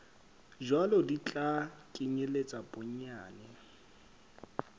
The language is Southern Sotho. jwalo di tla kenyeletsa bonyane